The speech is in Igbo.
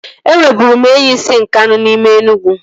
E nweburu m enyi si Nkanu n'ime Enugwu